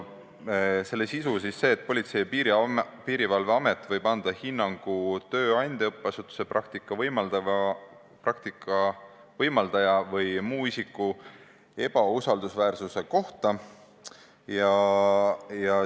Selle sisu on see, et Politsei- ja Piirivalveamet võib anda hinnangu tööandja, õppeasutuse, praktika võimaldaja või muu isiku ebausaldusväärsuse kohta.